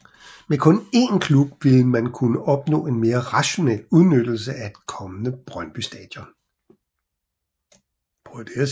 Med kun én klub ville man kunne opnå en mere rationel udnyttelse af et kommende Brøndby Stadion